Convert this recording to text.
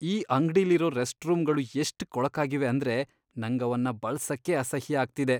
ಈ ಅಂಗ್ಡಿಲಿರೋ ರೆಸ್ಟ್ರೂಮ್ಗಳು ಎಷ್ಟ್ ಕೊಳಕಾಗಿವೆ ಅಂದ್ರೆ ನಂಗ್ ಅವನ್ನ ಬಳ್ಸಕ್ಕೇ ಅಸಹ್ಯ ಆಗ್ತಿದೆ.